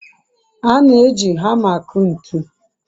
a na-eji hama aku ntu